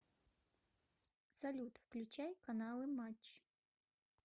салют включай каналы матч